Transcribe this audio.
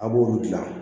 A b'olu dilan